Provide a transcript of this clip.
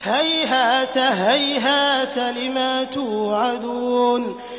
۞ هَيْهَاتَ هَيْهَاتَ لِمَا تُوعَدُونَ